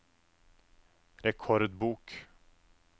rekordbok